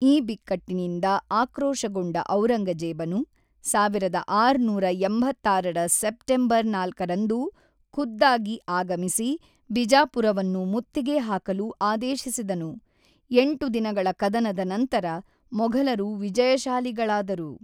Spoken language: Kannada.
ಈ ಬಿಕ್ಕಟ್ಟಿನಿಂದ ಆಕ್ರೋಶಗೊಂಡ ಔರಂಗಜೇಬನು ಸಾವಿರದ ಆರುನೂರ ಎಂಬತ್ತಾರರ ಸೆಪ್ಟೆಂಬರ್ ನಾಲ್ಕರಂದು ಖುದ್ದಾಗಿ ಆಗಮಿಸಿ ಬಿಜಾಪುರವನ್ನು ಮುತ್ತಿಗೆ ಹಾಕಲು ಆದೇಶಿಸಿದನು; ಎಂಟು ದಿನಗಳ ಕದನದ ನಂತರ ಮೊಘಲರು ವಿಜಯಶಾಲಿಗಳಾದರು.